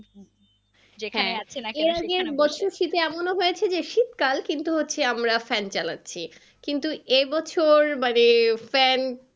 শীতে এমন হয়েছে যে শীতকাল কিন্তু হচ্ছে আমরা fan চালাচ্ছি কিন্তু এ বছর মানে fan